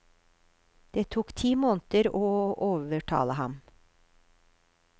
Det tok ti måneder å overtale ham.